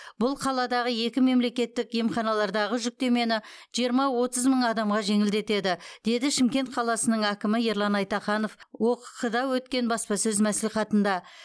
бұл қаладағы екі мемлекеттік емханалардағы жүктемені жиырма отыз мың адамға жеңілдетеді деді шымкент қаласының әкімі ерлан айтаханов окқ да өткен баспасөз мәслихатында